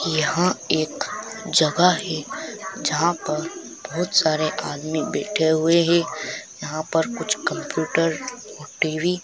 यहाँ एक जगह है जहां पर बहोत सारे आदमी बैठे हुए हैं यहाँ पर कुछ कंप्युटर टी_वी --